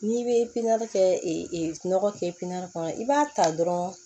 N'i bɛ pine kɛ nɔgɔ kɛ pipiniyɛri kɔnɔ i b'a ta dɔrɔn